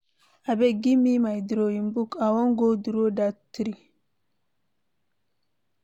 Abeg give me my drawing book, I wan go draw dat tree.